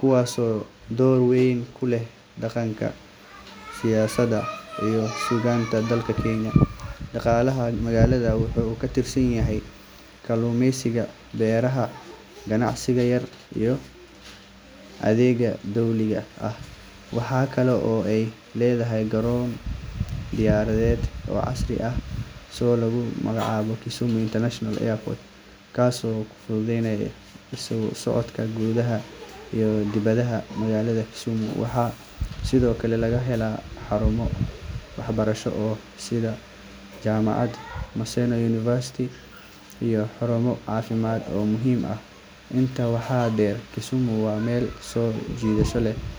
kuwaasoo door weyn ku leh dhaqanka, siyaasadda iyo suugaanta dalka Kenya. Dhaqaalaha magaalada wuxuu ku tiirsan yahay kalluumeysiga, beeraha, ganacsiga yar yar iyo adeegyada dowliga ah. Waxa kale oo ay leedahay garoon diyaaradeed oo casri ah oo lagu magacaabo Kisumu International Airport, kaas oo fududeeya isku socodka gudaha iyo dibadda. Magaalada Kisumu waxaa sidoo kale laga helaa xarumo waxbarasho oo sare sida jaamacadda Maseno University iyo xarumo caafimaad oo muhiim ah. Intaa waxaa dheer, Kisumu waa meel soo jiidasho leh